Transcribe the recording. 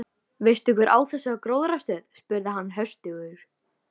Veistu hver á þessa gróðrarstöð? spurði hann höstugur.